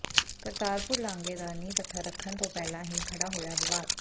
ਕਰਤਾਰਪੁਰ ਲਾਂਘੇ ਦਾ ਨੀਂਹ ਪੱਥਰ ਰੱਖਣ ਤੋਂ ਪਹਿਲਾਂ ਹੀ ਖੜ੍ਹਾ ਹੋਇਆ ਵਿਵਾਦ